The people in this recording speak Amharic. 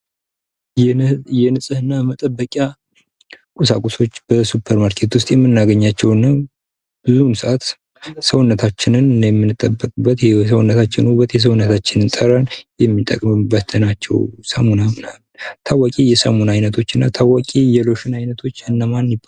የንፅህና መጠበቂያ ቁሳቁሶች በሱፐር ማርኬት ውስጥ የምናገኛቸውና ብዙውን ሰአት ሰውነታችንን የሰውነታችን ውበት የሰውነታችን ጠረን የምንጠብቅበት ናቸው ሳሙና ምናምን። ታዋቂ የሳሙና አይነቶችና ታዋቂ የሎሽን አይነቶች እነማን ናቸው?